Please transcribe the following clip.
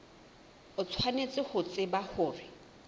o tshwanetse ho tseba hore